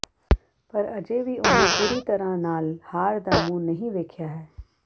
ਪਰ ਅਜੇ ਵੀ ਉਨ੍ਹਾਂ ਪੂਰੀ ਤਰ੍ਹਾਂ ਨਾਲ ਹਾਰ ਦਾ ਮੂੰਹ ਨਹੀਂ ਵੇਖਿਆ ਹੈ